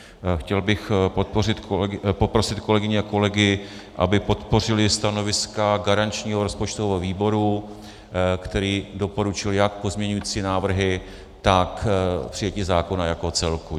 Chtěl bych poprosit kolegyně a kolegy, aby podpořili stanoviska garančního rozpočtového výboru, který doporučuje jak pozměňovací návrhy, tak přijetí zákona jako celku.